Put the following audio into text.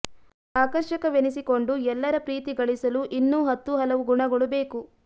ಆಕರ್ಷಕವೆನಿಸಿಕೊಂಡು ಎಲ್ಲರ ಪ್ರೀತಿ ಗಳಿಸಲು ಇನ್ನೂ ಹತ್ತು ಹಲವು ಗುಣಗಳು ಬೇಕು